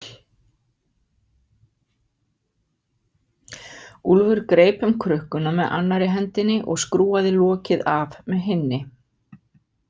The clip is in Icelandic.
Úlfur greip um krukkuna með annarri hendinni og skrúfaði lokið af með hinni.